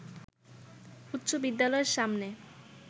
উচ্চ বিদ্যালয়ের সামনে